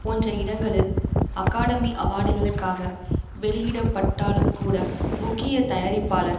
போன்ற இடங்களில் அகாடமி அவார்டுகளுக்காக வெளியிடப்பட்டாலும் கூட முக்கிய தயாரிப்பாளர்